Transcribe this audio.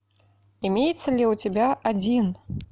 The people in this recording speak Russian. имеется ли у тебя один